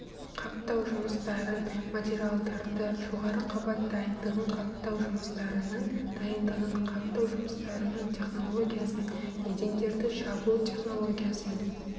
қаптау жұмыстарын материалдарды жоғары қабат дайындығын қаптау жұмыстарының дайындығын қаптау жұмыстарының технологиясын едендерді жабу технологиясын